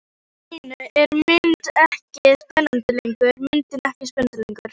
Allt í einu er myndin ekki spennandi lengur.